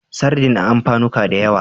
Sardin a amfanuka da yawa.